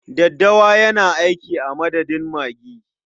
Daddawa yana aiki a madadin magi.